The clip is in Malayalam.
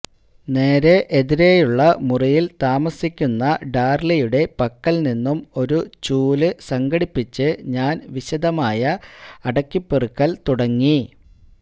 നേരെ എതിരെയുള്ള മുറിയിൽ താമസിയ്ക്കുന്ന ഡാർലിയുടെ പക്കൽനിന്നും ഒരു ചൂല് സംഘടിപ്പിച്ച് ഞാൻ വിശദമായ അടുക്കിപ്പെറുക്കൽ തുടങ്ങി